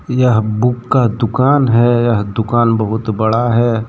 यह बुक का दुकान है। यह दुकान बहुत बड़ा है।